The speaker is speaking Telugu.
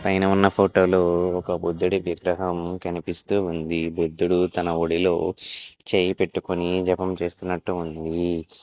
పైన ఉన్న ఫోటో లో ఒక బుద్ధుడి విగ్రహం కనిపిస్తూ ఉంది. బుద్ధుడు తన ఒడిలో చేయి పెట్టుకొని జపం చేస్తున్నట్టు ఉంది.